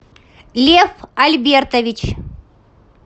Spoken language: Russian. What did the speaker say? лев альбертович